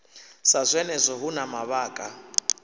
sa zwenezwo hu na mavhaka